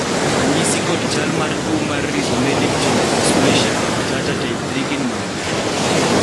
ranyisi kod chal mar tuo mar Rhizomelic chondrodysplasia punctata type 3 gin mage?